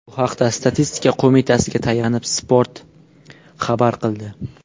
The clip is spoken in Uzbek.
Bu haqda Statistika qo‘mitasiga tayanib, Spot xabar qildi .